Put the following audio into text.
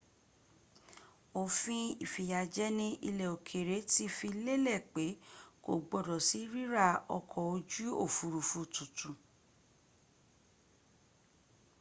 òfin ìfìyàjẹni ilẹ̀ òkèrè ti fi lélẹ̀ pẹ kò gbọdọ̀ sí ríra ọkọ̀ ojú òfurufú tuntun